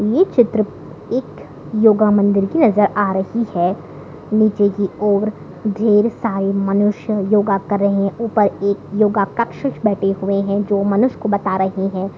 ये चित्र एक योगा मंदिर की नजर आ रही है नीचे की ओर ढेर सारे मनुष्य योगा कर रहे है ऊपर एक योग कक्ष बैठे हुए हैं जो बता रहे हैं।